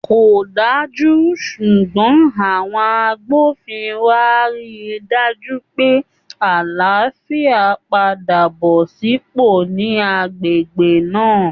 Kò dájú, ṣùgbọ́n àwọn agbófinró á rí i dájú pé àlàáfíà padà bọ́ sípò ní agbègbè náà